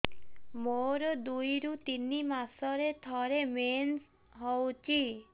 ମୋର ଦୁଇରୁ ତିନି ମାସରେ ଥରେ ମେନ୍ସ ହଉଚି